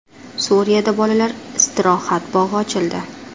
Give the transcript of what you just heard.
Suriyada bolalar istirohat bog‘i ochildi.